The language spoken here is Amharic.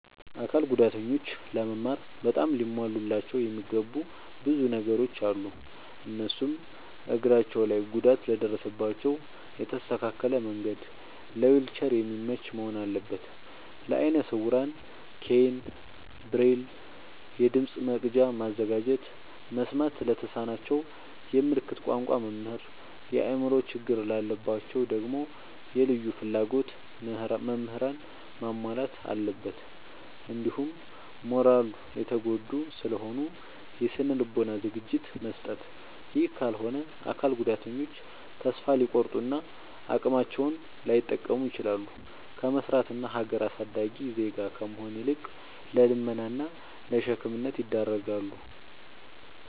አካል ጉዳተኞች ለመማር በጣም ሊሟሉላቸው የሚገቡ ብዙ ነገሮ አሉ። እነሱም፦ እግራቸው ላይ ጉዳት ለደረሰባቸው የተስተካከለ መንድ ለዊልቸር የሚመች መሆን አለበት። ለአይነ ስውራን ኬይን፣ ብሬል፤ የድምፅ መቅጃ ማዘጋጀት፤ መስማት ለተሳናቸው የምልክት ቋንቋ መምህር፤ የአእምሮ ችግር ላለባቸው ደግሞ የልዩ ፍላጎት ምህራንን ማሟላት አለብትን። እንዲሁም ማራሊ የተጎዱ ስለሆኑ የስነ ልቦና ዝግጅት መስጠት። ይህ ካልሆነ አካል ጉዳተኞች ተሰፋ ሊቆርጡ እና አቅማቸውን ላይጠቀሙ ይችላሉ። ከመስራት እና ሀገር አሳዳጊ ዜጋ ከመሆን ይልቅ ለልመና እና ለሸክምነት ይዳረጋሉ።